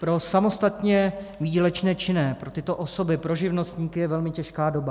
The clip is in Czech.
Pro samostatně výdělečné činné, pro tyto osoby, pro živnostníky, je velmi těžká doba.